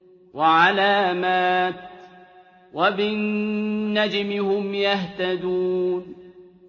وَعَلَامَاتٍ ۚ وَبِالنَّجْمِ هُمْ يَهْتَدُونَ